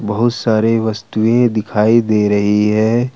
बहुत सारे वस्तुएं दिखाई दे रही है।